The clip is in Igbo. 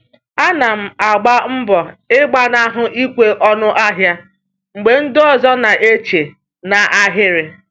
Ana m agba mbọ ịgbanahụ ikwe ọnụ ahịa mgbe ndị ọzọ na-eche n’ahịrị.